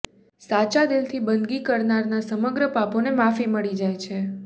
સાચા દિલથી બંદગી કરનારનાં સમગ્ર પાપોને માફી મળી જાય છે